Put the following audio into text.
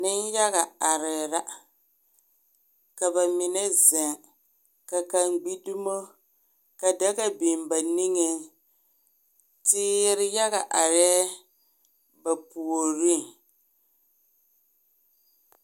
Nenyaga arɛɛ la ka kaŋa zeŋ ka kaŋa gbi dumo ka daga biŋ ba niŋe teere yaga arɛɛ ba puoriŋ